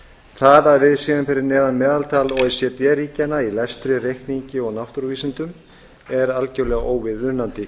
það að við séum fyrir neðan meðaltal o e c d ríkjanna í lestri reikningi og náttúruvísindum er algjörlega óviðunandi